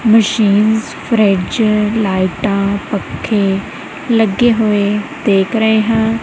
Machines fridge ਲਾਈਟਾਂ ਪੱਖੇ ਲੱਗੇ ਹੋਏ ਦੇਖ ਰਹੇ ਹਾਂ।